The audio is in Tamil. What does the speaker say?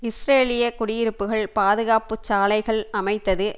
இஸ்ரேலிய குடியிருப்புக்கள் பாதுகாப்பு சாலைகள் அமைத்தது